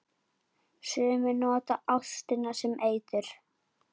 Sumir nota ástina sem eitur.